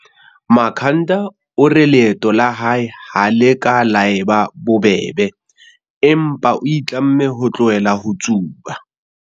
Makhanda o re leeto la hae ha le ka la eba bobebe, empa o itlamme ho tlohela ho tsuba.